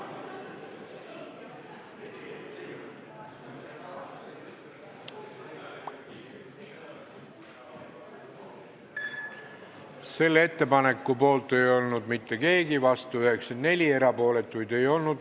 Hääletustulemused Selle ettepaneku poolt ei olnud mitte keegi, vastuolijaid oli 94, erapooletuid ei olnud.